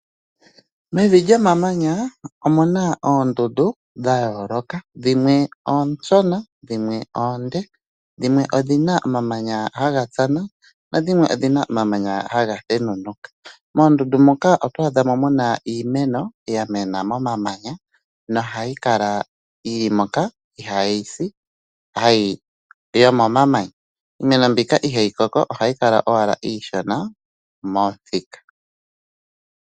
Mevi lyomamanya omuna oondundu dhayooloka, dhimwe oonshona, dhimwe oonde, dhimwe odhina omamanya haha tsana, nadhimwe odhina omamanya haga thenunuka. Moondundu moka otwaadha mo iimeno yamena momamanya nohayi kala yili moka, ihayi si yomomanya. Iimeno mbika ohayi kala owala iishona, ihayi koko momuthika.